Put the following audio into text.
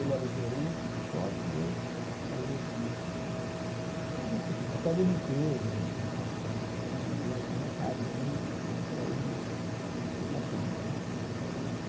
Ele era o gerente do Foto e eu fazia serviço de serviço de até de limpeza, de limpar o varrer o chão e algum recadozinho para ir me aclimatando né.